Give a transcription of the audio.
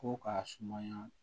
Ko k'a sumaya